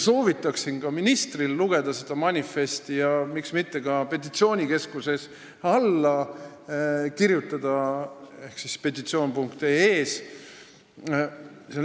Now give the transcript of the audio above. Soovitan ka ministril seda manifesti lugeda ja miks mitte sellele ka alla kirjutada petitsioonikeskuses ehk portaalis petitsioon.ee.